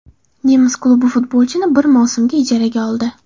Nemis klubi futbolchini bir mavsumga ijaraga oldi .